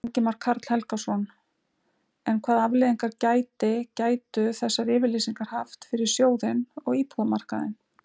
Ingimar Karl Helgason: En hvað afleiðingar gæti, gætu þessar yfirlýsingar haft fyrir sjóðinn og íbúðamarkaðinn?